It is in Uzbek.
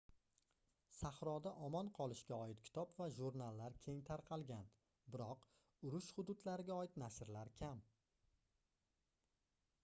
sahroda omon qolishga oid kitob va jurnallar keng tarqalgan biroq urush hududlariga oid nashrlar kam